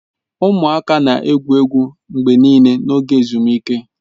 Ụmụaka na-egwu egwu mgbe niile n'oge ezumike.